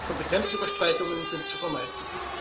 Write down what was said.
Kompetenzüberschreitungen sind zu vermeiden.